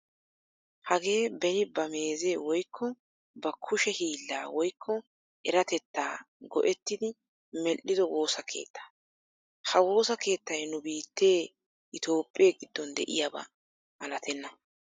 Hagee beni ba meeze woykko ba kushshe hiillaa woykko eratettaa go"ettidi medhi'ido woossa keettaa. Ha woossa keettay nu biittee Itoophphee giddon de'iyaaba malatena.